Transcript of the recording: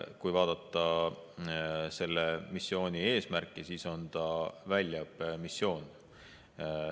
Kui vaadata selle missiooni eesmärki, siis on ta väljaõppemissioon.